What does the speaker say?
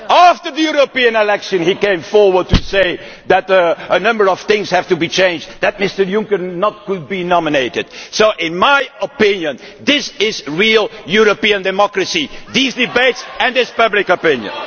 After the European election, he came forward to say that a number of things had to be changed, that Mr Juncker could not be nominated. So, in my opinion, this is real European democracy these debates and this public opinion.